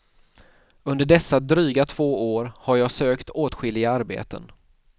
Under dessa dryga två år har jag sökt åtskilliga arbeten.